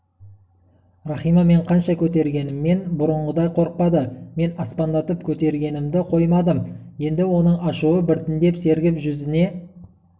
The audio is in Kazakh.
рахима мен қанша көтергеніммен бұрынғыдай қорықпады мен аспандатып көтергенімді қоймадым енді оның ашуы біртіндеп сергіп жүзіне